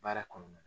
Baara kɔnɔna na